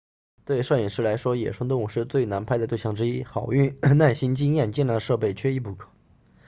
对摄影师来说野生动物是最难拍的对象之一好运耐心经验精良的设备缺一不可